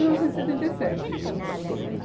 Mil novecentos e setenta e sete